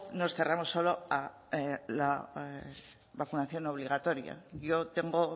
nos cerramos solo a la vacunación obligatoria yo tengo